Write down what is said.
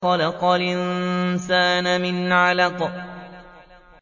خَلَقَ الْإِنسَانَ مِنْ عَلَقٍ